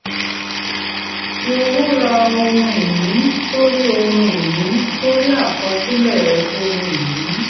fí owó ra ohun-ìní sórí ohun-ìní sórí àkọsílẹ̀ ohun-ìní.